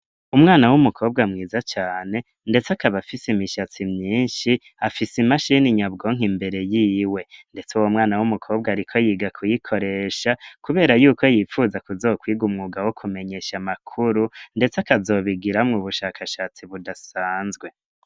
Umwana w'umukobwa mwiza cane, ndetse akaba afise n'imishatsi myinshi, afise imashini nyabwonko imbere yiwe. Ndetse uwo mwanya w'umukobwa ariko yiga kuyikoresha, kubera ashaka Kubera yukwo yipfuza kizokora umwuga wo kumenyesha amakuru, ndetse akazobigiramwo ubushakashatsi budasanzwe.